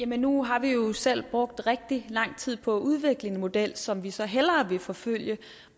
nu har vi jo selv brugt rigtig lang tid på at udvikle en model som vi så hellere vil forfølge